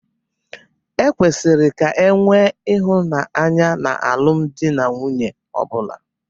Ekwesiri ka enwee ịhụnanya na alụmdi na nwunye ọbụla.